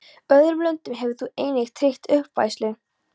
Öðrum löndum hefur þú einnig tryggt uppfæðslu